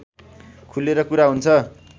खुलेर कुरा हुन्छ